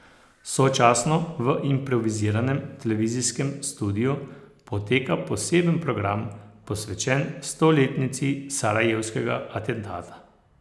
Sočasno v improviziranem televizijskem studiu poteka poseben program, posvečen stoletnici sarajevskega atentata.